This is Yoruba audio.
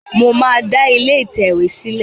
Mo máa da ilé ìtẹ̀wé sìlé